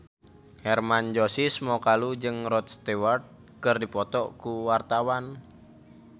Hermann Josis Mokalu jeung Rod Stewart keur dipoto ku wartawan